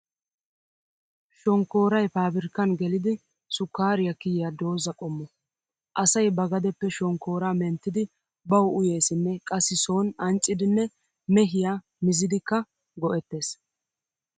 Shonkkooray paabirkkan gelidi sukkaariyaa kiya dooza qommo. Asay ba gadeppe shonkkooraa menttidi bawu uyeessinne qassi sooni anccidinne mehiyaa mizidikka go'ettees.